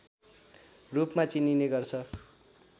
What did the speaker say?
रूपमा चिनिने गर्छ